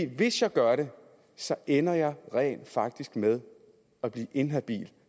hvis jeg gør det så ender jeg rent faktisk med at blive inhabil